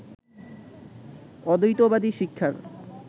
অদ্বৈতবাদী শিক্ষার